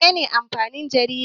Mene ne amfanin jarida?